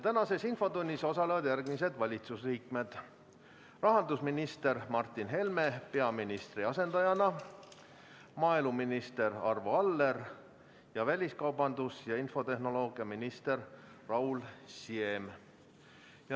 Tänases infotunnis osalevad järgmised valitsusliikmed: rahandusminister Martin Helme peaministri asendajana, maaeluminister Arvo Aller ning väliskaubandus‑ ja infotehnoloogiaminister Raul Siem.